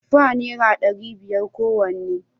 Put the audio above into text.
Tufa naira dari biyar kowanne